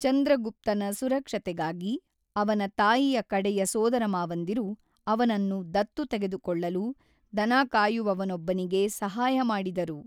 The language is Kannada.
ಚಂದ್ರಗುಪ್ತನ ಸುರಕ್ಷತೆಗಾಗಿ, ಅವನ ತಾಯಿಯ ಕಡೆಯ ಸೋದರಮಾವಂದಿರು ಅವನನ್ನು ದತ್ತು ತೆಗೆದುಕೊಳ್ಳಲು ದನಕಾಯುವವನೊಬ್ಬನಿಗೆ ಸಹಾಯ ಮಾಡಿದರು.